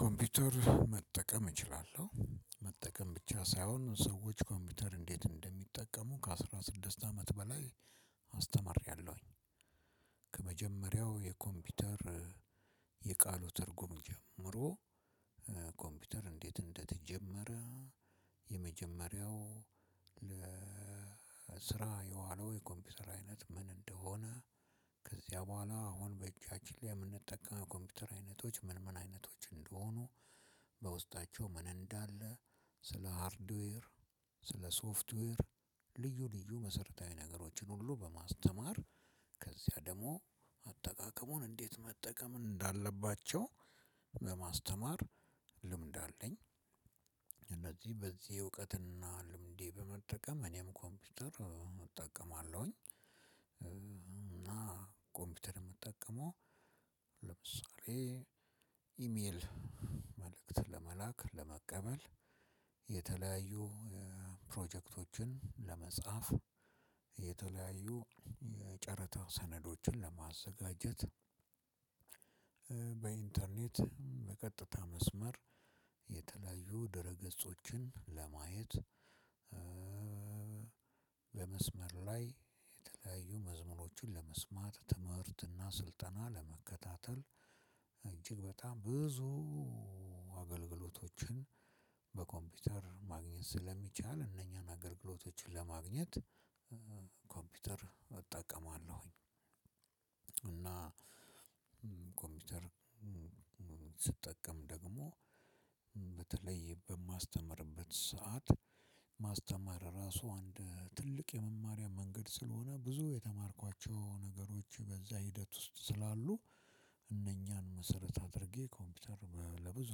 ኮምፒውተር መጠቀም እችላለሁ። መጠቀም ብቻ ሳይሆን ሰዎች ኮምፒውተር እንዴት እንደሚጠቀሙ ከአስራ ስድስት አመት በላይ አስተምሬያለሁኝ። ከመጀመሪያው የኮምፒውተር የቃሉ ትርጉም ጀምሮ ኮምፒውተር እንዴት እንደተጀመረ፣ የመጀመሪያው ለስራ የዋለው የኮምፒውተር አይነት ምን እንደሆነ፣ ከዚያ በኋላ አሁን በእጃችን ላይ የምንጠቀው የኮምፒተር አይነቶች ምን ምን አይነቶች እንደሆኑ በውስጣቸው ምን እንዳለ ስለሀርድዌር፣ ስለሶፍትዌር ልዩ ልዩ መሰረታዊ ነገሮችን ሁሉ በማስተማር ከዚያ ደግሞ አጠቃቀሙን እንዴት መጠቀም እንዳለባቸው በማስተማር ልምድ አለኝ። ከዚያ ደግሞ አጠቃቀሙን እንዴት መጠቀም እንዳለባቸው በማስተማር ልምድ አለኝ እና ኮምፒዩተር የምጠቀመው ለምሳሌ ኢሜል መልእክት ለመላክ፣ ለመቀበል የተለያዩ ፕሮጀክቶችን ለመጻፍ፣ የተለያዩ የጨረታ ሰነዶችን ለማዘጋጀት በኢንተርኔት በቀጥታ መስመር የተለያዩ ድረ ገጾችን ለማየት በመስመር ላይ የተለያዩ መዝሙሮችን ለመስማት፣ ትምህርትና ስልጠና ለመከታተል እጅግ በጣም ብዙ አገልግሎቶችን በኮምፒውተር ማግኘት ስለሚቻል እነኛን አገልግሎቶችን ለማግኘት ኮምፒውተር እጠቀማለሁኝ። እና ኮምፒውተር ስጠቀም ደግሞ በተለይ በማስተምርበት ሰዓት ማስተማር ራሱ አንድ ትልቅ የመማሪያ መንገድ ስለሆነ ብዙ የተማርኳቸው ነገሮች በዛ ሂደት ውስጥ ስላሉ እነኛን መሰረት አድርጌ ኮምፒውተር ለብዙ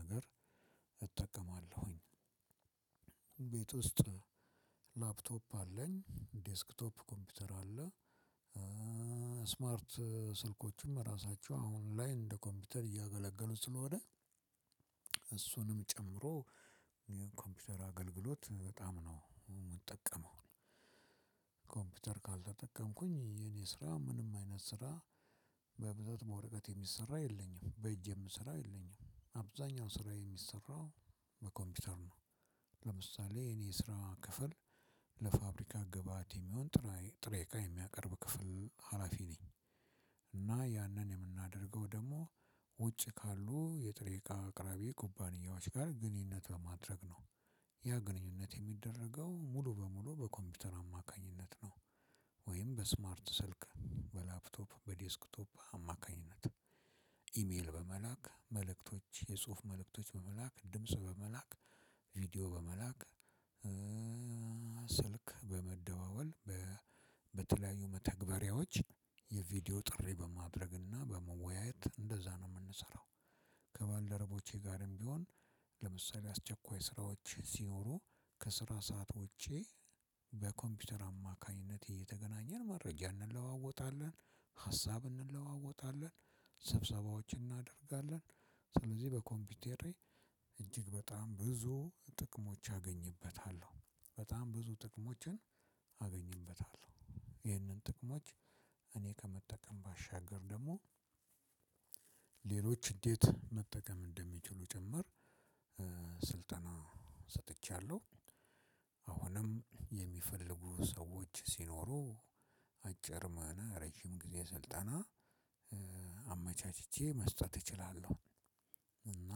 ነገር እጠቀማለሁኝ። ቤት ውስጥ ላፕቶፕ አለኝ። ዴስክቶፕ ኮምፒውተር አለ። ስማርት ስልኮችም ራሳቸው አሁን ላይ እንደ ኮምፒውተር እያገለገሉ ስለሆነ እሱንም ጨምሮ ኮምፒውተር አገልግሎት በጣም ነው የምጠቀመው። ኮምፒውተር ካልተጠቀምኩኝ የኔ ስራ ምንም አይነት ስራ በብዛት በወረቀት የሚሰራ የለኝም። በእጄም ስራ የለኝም። አብዛኛው ስራ የሚሰራው በኮምፒውተር ነው። ለምሳሌ የኔ ስራ ክፍል ለፋብሪካ ግብአት የሚሆን ጥሬቃ የሚያቀርብ ክፍል ሀላፊ ነኝ። እና ያንን የምናደርገው ደግሞ ውጭ ካሉ የጥሬቃ አቅራቢ ኩባንያዎች ጋር ግንኙነት በማድረግ ነው። ያ ግንኙነት የሚደረገው ሙሉ በሙሉ በኮምፒዩተር አማካኝነት ነው። ወይም በስማርት ስልክ፣ በላፕቶፕ፣ በዴስክቶፕ አማካኝነት ኢሜል በመላክ መልእክቶች የጽሁፍ መልእክቶች በመላክ፣ ድምጽ በመላክ፣ ቪዲዮ በመላክ ስልክ በመደዋወል በተለያዩ መተግበሪያዎች የቪዲዮ ጥሪ በማድረግና በመወያየት እንደዛ ነው የምንሰራው። ከባልደረቦቸ ጋርም ቢሆን ለምሳሌ አስቸኳይ ስራዎች ሲኖሩ ከስራ ሰዓት ውጭ በኮምፒዩተር አማካኝነት እየተገናኘን መረጃ እንለዋወጣለን። ሀሳብ እንለዋወጣለን። ስብሰባዎችን እናደርጋለን። ስለዚህ በኮምፒውተሬ እጅግ በጣም ብዙ ጥቅሞች አገኝበታለሁ። በጣም ብዙ ጥቅሞችን አገኝበታለሁ። ይህንን ጥቅሞች እኔ ከመጠቀም ባሻገር ደግሞ ሌሎች እንዴት መጠቀም እንደሚችሉ ጭምር ስልጠና ሰጥቻለሁ። አሁንም የሚፈልጉ ሰዎች ሲኖሩ አጭር ሆነ ረጅም ጊዜ ሰልጠና አመቻችቼ መስጠት እችላለሁ። እና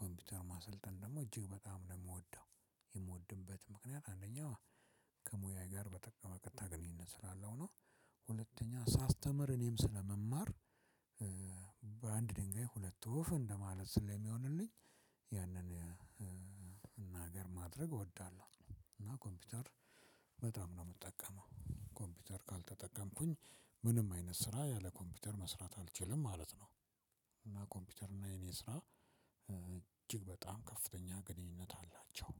ኮምፒውተር ማሰልጠን ደግሞ እጅግ በጣም ነው የምወደው። የምወድበት ምክንያት አንደኛው ከሙያዬ ጋር በቀጥታ ግንኙነት ስላለው ነው። ሁለተኛ ሳስተምር እኔም ስለምማር ድንጋይ ሁለት ወፍ እንደማለት ስለሚሆንልኝ ያንን እናገር ማድረግ እወዳለሁ። እና ኮምፒውተር በጣም ነው የምጠቀመው። ኮምፒውተር ካልተጠቀምኩኝ ምንም አይነት ስራ ያለ ኮምፒውተር መስራት አልችልም ማለት ነው። እና ኮምፒውተር እና የኔ ስራ እጅግ በጣም ከፍተኛ ግንኙነት አላቸው።